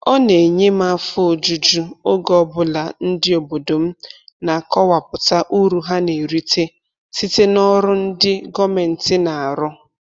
Ọ na-enye m afọ ojuju oge ọbụla ndị obodo m na-akọwapụta uru ha na-erite site n'ọrụ ndị gọọmentị na-arụ